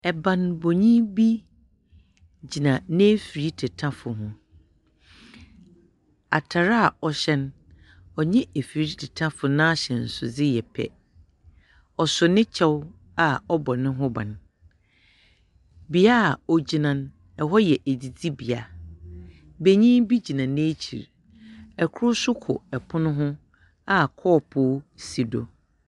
Banbɔnyi bi gyina n'efir tetafo ho. Atar a ɔhyɛ no no, ɔnye efir tetafo no ahyɛnsodze yɛ pɛ. Ɔso ne kyɛw a ɔbɔ ne ho ban. Bea a ogyina no, hɔ yɛ edzidzibea. Benyin bi gyina n'ekyir. Kor nso ko pon ho a kɔɔpoo si do.